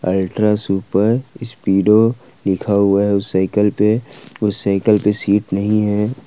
Ultra super speedo लिखा हुआ है उस सइकल पे उस सइकल पे सीट नहीं है।